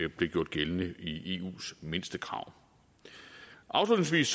blev gjort gældende i eus mindstekrav afslutningsvis